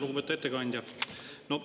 Lugupeetud ettekandja!